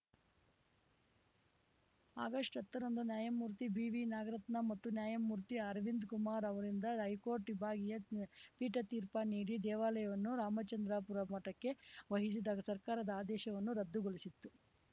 ಆಗಸ್ಟ್ಹತ್ತರಂದು ನ್ಯಾಯಮೂರ್ತಿ ಬಿವಿನಾಗರತ್ನ ಮತ್ತು ನ್ಯಾಯಮೂರ್ತಿ ಅರವಿಂದ್ ಕುಮಾರ್ ಅವರಿಂದ್ದ ಹೈಕೋರ್ಟ್‌ ವಿಭಾಗೀಯ ಪೀಠ ತೀರ್ಪ ನೀಡಿ ದೇವಾಲಯವನ್ನು ರಾಮಚಂದ್ರಾಪುರ ಮಠಕ್ಕೆ ವಹಿಸಿದ ಸರ್ಕಾರದ ಆದೇಶವನ್ನು ರದ್ದುಗೊಳಿಸಿತ್ತು